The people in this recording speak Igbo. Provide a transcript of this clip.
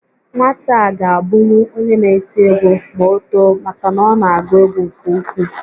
Nwata a ga abụnwu onye n'eti egwu ma o too maka na ọ na agụ egwu nke ukwuu